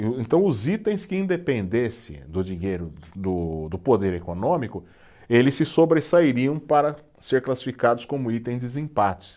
Então os itens que independessem do dinheiro do, do poder econômico, eles se sobressairiam para ser classificados como itens desempate.